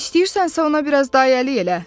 İstəyirsənsə ona biraz da əylik elə.